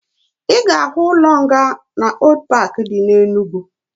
Ị ga-ahụ ụlọ nga na Old paaki dị na Enugwu